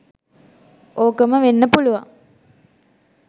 ඕකම වෙන්න පුළුවන්.